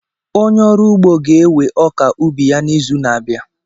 Onye ọrụ ụgbọ ga-ewe ọka ubi ya n'izu na-abịa.